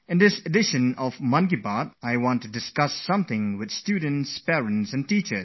Today, during my Mann ki Baat, I would like to share my inner thoughts on exams with parents, students and teachers